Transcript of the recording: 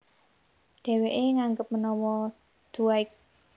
Dhèwèké nganggep menawa Dwight